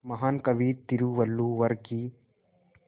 महान कवि तिरुवल्लुवर की